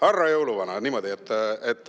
Härra jõuluvana!